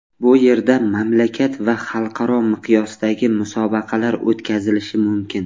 Bu yerda mamlakat va xalqaro miqyosdagi musobaqalar o‘tkazilishi mumkin.